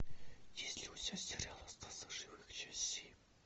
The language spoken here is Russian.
есть ли у тебя сериал остаться в живых часть семь